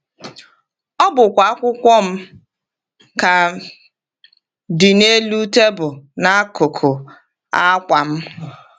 Ọ bụkwa akwụkwọ m ka dị n’elu tebụl n’akụkụ akwa m!